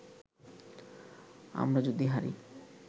আমরা যদি হারি